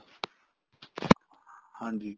ਹਾਂਜੀ